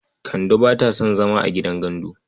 Kande ba ta son zama a gidan gandu ba.